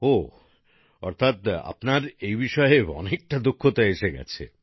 ওহ অর্থাৎ আপনার এই বিষয়ে অনেকটা দক্ষতা এসে গেছে